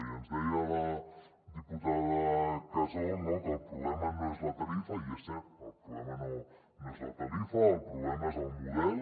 i ens deia la diputada casol que el problema no és la tarifa i és cert el problema no és la tarifa el problema és el model